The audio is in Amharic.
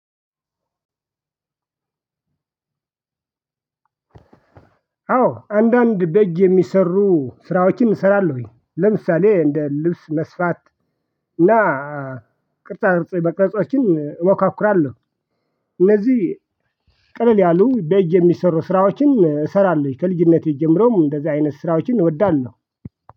አዎ አንዳንድ በእጅ የሚሰሩ ስራዎችን እሰራለሁኝ ለምሳሌ እንደ ልብስ መስፋት እና ቅርጻ ቅርጽ መቅረጾችን እሞካክራለሁ። እነዚህ ቅልል ያሉ በእጅ የሚሰሩ ስራዎችን እሰራለሁ። ከልጅነቴ ጀምሮም እንደዚህ አይነት ስራዎችን እወዳለሁ።